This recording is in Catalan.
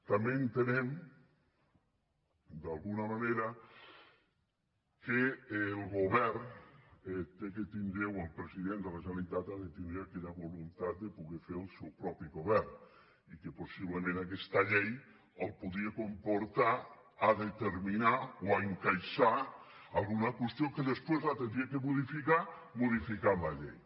també entenem d’alguna manera que el govern ha de tindre o el president de la generalitat ha de tindre aquella voluntat de poder fer el seu propi govern i que possiblement aquesta llei el podria comportar a determinar o a encaixar alguna qüestió que després l’hauria de modificar modificant la llei